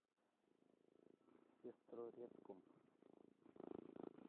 сестрорецком